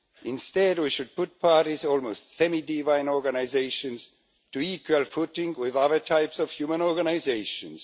Instead we should put parties almost semi divine organisations onto an equal footing with other types of human organisations.